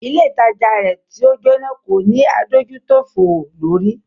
Ilé ìtajà rẹ̀ tí o jóná kò ní adójútòfò lórí.